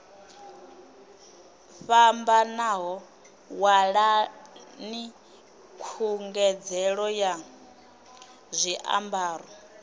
fhambanaho ṅwalani khungedzelo ya zwiambaro